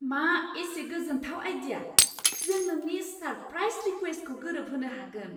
मा एसे गोजोनथाव आइडिया! जों नोंनि सारप्राइस रिक्वेस्टखौ गोरोबहोनो हागोन!